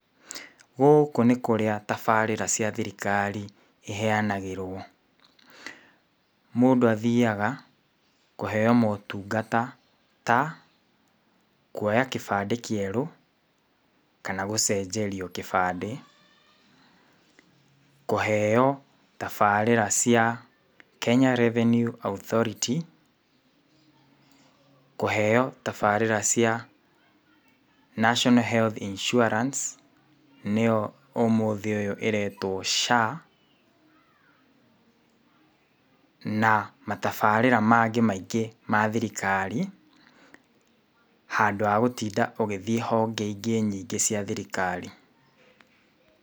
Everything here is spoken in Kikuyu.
Gũkũ nĩ kũrĩa tabarĩra cia thirikari iheanagĩrwo, mũndũ athiaga kũheo motungata ta, kuoya kĩbandĩ kĩeru, kana gũcenjerio kĩbandĩ, kũheo tabarĩra cia Kenya Revenue Authority, kũheo tabarĩra cia National Health Insurance, nĩyo ũmũthĩ ũyũ ĩretwo SHA, na matabarĩra mangĩ maingĩ ma thirikari handũ wa gũtinda ũgĩthiĩ honge ingĩ nyingĩ cia thirikari